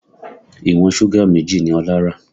Ìwọ̀n súgà méjì ni Ọlá rà